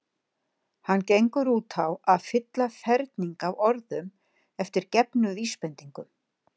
Hann gengur út á að fylla ferning af orðum eftir gefnum vísbendingum.